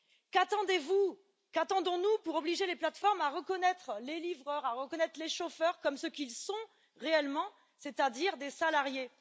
Qu'attendez vous, qu'attendons nous pour obliger les plateformes à reconnaître les livreurs, à reconnaître les chauffeurs comme ce qu'ils sont réellement, c'est à dire des salariés?